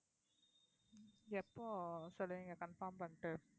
எப்போ சொல்லுவீங்க confirm பண்ணிட்டு